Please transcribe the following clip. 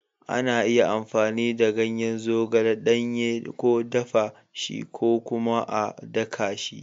Ana iya amfani da ganyen zogale ɗanye, ko dafa shi, ko kuma a daka shi.